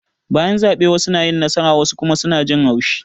Bayan zabe wassu na yin nasara wassu kuma suna jin haushi